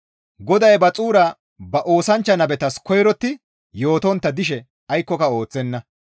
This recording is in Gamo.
GODAY ba xuura ba oosanchcha nabetas koyrotti yootontta dishe aykkoka ooththenna.